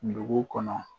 Dugu kɔnɔ